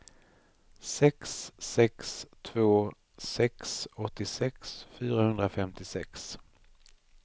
sex sex två sex åttiosex fyrahundrafemtiosex